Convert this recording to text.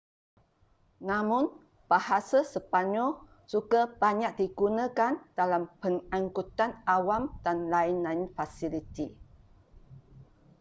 namun bahasa sepanyol juga banyak digunakan dalam pengankutan awam dan lain-lain fasiliti